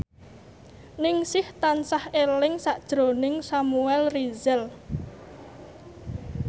Ningsih tansah eling sakjroning Samuel Rizal